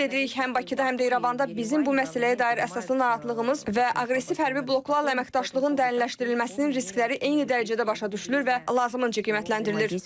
Ümid edirik həm Bakıda, həm də İrəvanda bizim bu məsələyə dair əsaslı narahatlığımız və aqressiv hərbi bloklarla əməkdaşlığın dərinləşdirilməsinin riskləri eyni dərəcədə başa düşülür və lazımınca qiymətləndirilir.